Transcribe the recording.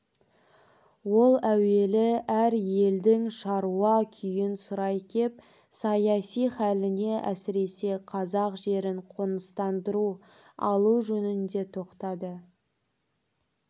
ол әуелі әр елдің шаруа күйін сұрай кеп саяси халіне әсіресе қазақ жерін қоныстандыру алу жөнінде тоқтады